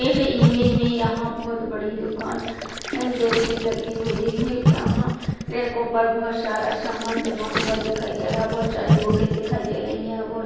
इस इमेज मे यहाँ बहुत बडी दुकान जैसी लगी हुई है। यहाँ रैको पर बहुत सारा सामान जमा हुआ दिखाई दे रहा है और बहुत सारी बूके दिखाई दे रही है। यहाँ बहुत--